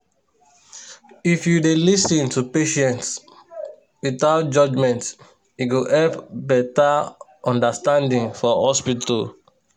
if you dey lis ten to patients without judgment e go help better understanding for hospital.